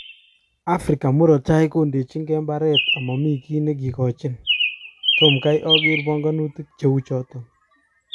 Africa murot tai kondechige mbaret omomi kiy nekikochin " tom kai oker ponkonutik cheuchoton